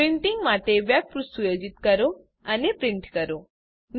printing માટે વેબપૃષ્ઠ સુયોજિત કરો અને પ્રિન્ટ કરો